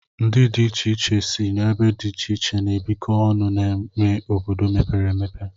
Ndị dị iche iche si ebe dị iche iche na-ebiko ọnụ n'ime obodo mepere emepe.